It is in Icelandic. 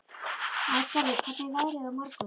Æsgerður, hvernig er veðrið á morgun?